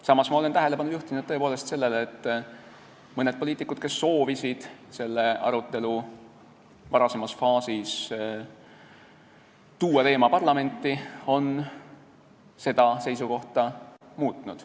Samas olen ma tõepoolest juhtinud tähelepanu sellele, et mõned poliitikud, kes soovisid selle arutelu varasemas faasis tuua seda teemat parlamenti, on oma seisukohta muutnud.